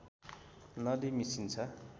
नदी मिसिन्छ